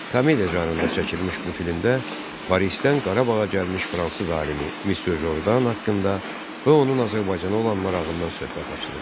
Komediya janrında çəkilmiş bu filmdə Parisdən Qarabağa gəlmiş fransız alimi Müsyo Jordan haqqında və onun Azərbaycana olan marağından söhbət açılır.